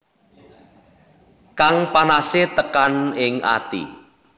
Kang panase tekan ing ati